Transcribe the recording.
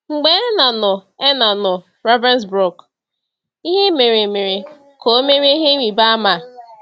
Mgbe Erna nọ Erna nọ na Ravensbrück, ihe mere mere ka o merie ihe ịrịba ama.